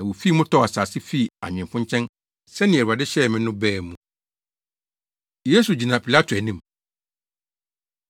na wofii mu tɔɔ asase fii anwemfo nkyɛn, sɛnea Awurade hyɛɛ me” no baa mu. Yesu Gyina Pilato Anim